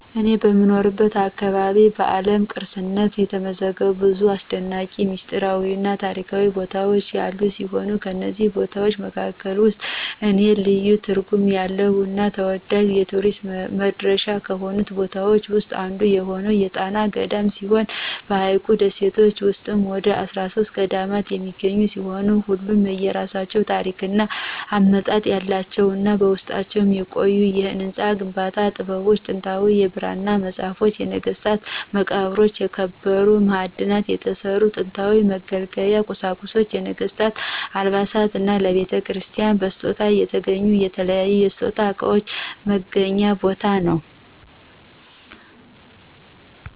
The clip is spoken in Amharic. እኔ በምኖርበት አካባቢ በዓለም ቅርስነት የተመዘገቡ ብዙ አሰደናቂ፣ ሚስጥራዊ እና ታሪካዊ ቦታዎች ያሉ ሲሆን ከነዚህም ቦታዎች መካከል ውስጥ ለኔ ልዩ ትርጉም ያለው እና ተወዳጅ የቱሪስት መዳረሻ ከሆኑት ቦታዎች ዉስጥ አንዱ የሆነው የጣና ገዳማት ሲሆን በሀይቁ ደሴቶች ውስጥም ወደ 13 ገዳማት የሚገኙ ሲሆን ሁሉም የየራሳቸው ታሪክ እና አመጣጥ ያላቸው እና በውስጣቸውም የቆዩ የህንፃ ግንባታ ጥበቦች፣ ጥንታዊ የብራና ፅሁፎች፣ የነገስታት መቃብሮች፣ ከከበሩ ማዕድናት የተሰሩ ጥንታዊ መገልገያ ቁሳቁሶች፣ የነገስታቱ አልባሳት እና ለቤተክርስቲያናቱ በስጦታ የተገኙ የተለያዩ የስጦታ እቃዎች መገናኛ ቦታ ነው።